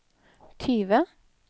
tyve